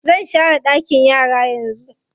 Zan share ɗakin yara yanzu.